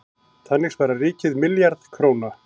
Þannig sparar ríkið milljarð króna.